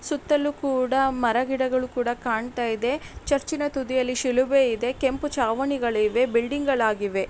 ಸುತ್ತಲೂ ಕೂಡ ಮರ ಗಿಡಗಳು ಕೂಡ ಕಾಣ್ತಾ ಇದೆ ಚರ್ಚಿ ನ ತುದಿಯಲ್ಲಿ ಶಿಲುಬೆ ಇದೆ ಕೆಂಪು ಚಾವಣಿಗಳಿವೆ ಬಿಲ್ಡಿಂಗ್ ಆಗಿವೆ .